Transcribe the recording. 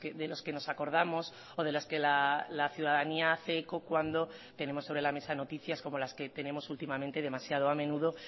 de los que nos acordamos o de las que la ciudadanía hace eco cuando tenemos sobre la mesa noticias como las que tenemos últimamente demasiado a menudo